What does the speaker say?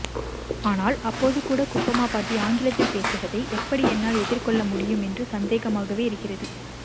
ஆனால் அப்போதுகூட குப்பம்மா பாட்டி ஆங்கிலத்தில் பேசுவதை எப்படி என்னால் எதிர்கொள்ளமுடியும் என்று சந்தேகமாகவே இருக்கிறது